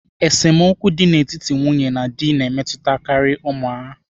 Esemokwu dị n'etiti nwunye na di na-emetụtakarị ụmụ.